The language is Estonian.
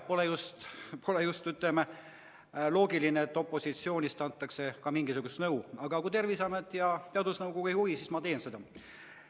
Pole just loogiline, et opositsioonist antakse ka mingisugust nõu, aga kui Terviseamet ja teadusnõukoda ei juhi, siis ma teen seda.